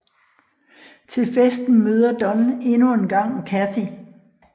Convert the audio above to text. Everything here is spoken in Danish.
Til festen møder Don endnu engang Kathy